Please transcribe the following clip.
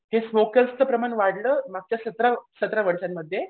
हे स्मोकर्सचं प्रमाण वाढलं मागच्या सतरा सतरा वर्षांमध्ये.